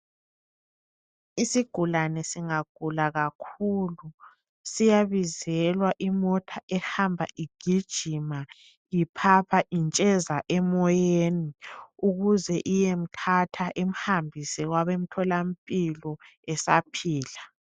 Isigulane singagula kakhulu siyabizelwa imota ehamba igijima, iphapha intsheza emoyeni ukuze iyemthatha imuhambise kwabemtholampilo esaphila.